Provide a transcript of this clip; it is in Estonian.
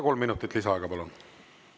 Kolm minutit lisaaega, palun!